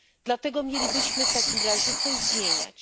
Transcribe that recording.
Dlaczego mielibyśmy w takim razie coś zmieniać?